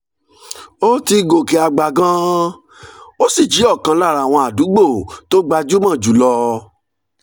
ó ti gòkè àgbà gan-an ó sì jẹ́ ọ̀kan lára àwọn àdúgbò tó gbajúmọ̀ jù lọ